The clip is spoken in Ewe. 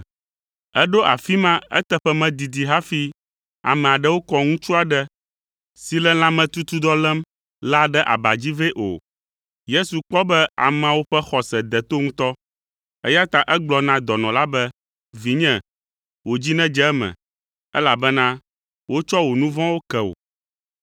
Eɖo afi ma eteƒe medidi hafi ame aɖewo kɔ ŋutsu aɖe si le lãmetutudɔ lém la ɖe aba dzi vɛ o. Yesu kpɔ be ameawo ƒe xɔse de to ŋutɔ, eya ta egblɔ na dɔnɔ la be, “Vinye, wò dzi nedze eme, elabena wotsɔ wò nu vɔ̃wo ke wò.”